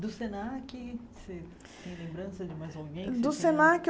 Do Senac, você tem lembrança de mais alguém? Do Senac